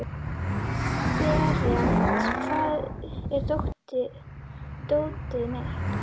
Berent, hvar er dótið mitt?